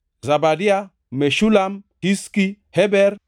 Zebadia, Meshulam, Hizki, Heber,